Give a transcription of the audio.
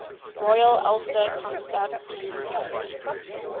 royal ulster constabulary